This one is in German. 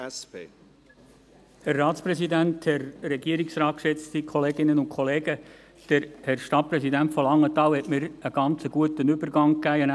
Der Herr Stadtpräsident von Langenthal hat mir einen sehr guten Übergang geliefert.